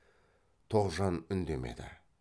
тоғжан үндемеді